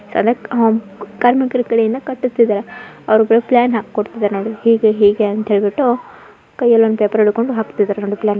ಕಾರ್ಮಿಕರ ಕಡೆ ಇಂದ ಕಟ್ಟಿಸ್ತಾ ಇದ್ದಾರೆ ಅವ್ರಿಗೆಲ್ಲ ಪ್ಲಾನ್ ಹಾಕೊಡ್ತಾ ಇದ್ದಾರೆ ಹೀಗೆ ಹೀಗೆ ಅಂತಾ ಹೇಳ್ಬಿಟ್ಟು ಕೈಯಲ್ಲಿ ಒಂದು ಪೇಪರ್ ಹಿಡ್ಕೊಂಡ್ ಹಾಕ್ತಿದ್ದಾರೆ.